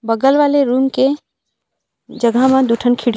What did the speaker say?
बगल वाले रूम के जगह म दू ठन खिड़की --